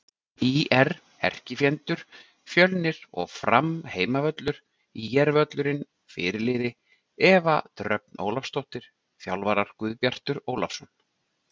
ÍR: Erkifjendur: Fjölnir og Fram Heimavöllur: ÍR-völlurinn Fyrirliði: Eva Dröfn Ólafsdóttir Þjálfarar: Guðbjartur Ólafsson